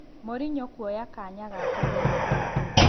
Morinyo kũoya kanya gake Zainabu?